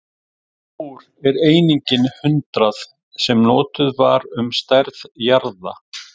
Hversu stór er einingin hundrað, sem notuð var um stærð jarða?